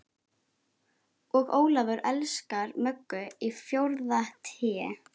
Og Ólafur elskar Möggu í fjórða Té.